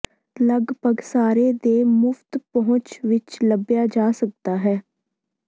ਲਗਭਗ ਸਾਰੇ ਦੇ ਮੁਫ਼ਤ ਪਹੁੰਚ ਵਿੱਚ ਲੱਭਿਆ ਜਾ ਸਕਦਾ ਹੈ